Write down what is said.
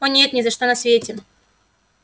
о нет ни за что на свете